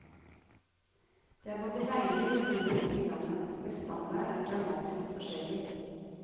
Det er både veier og biler nok i landet, men standarden er dramatisk forskjellig.